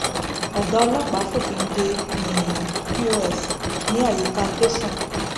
ọgá ọlọpàá fòfin de um pọs ní àyíká tẹsán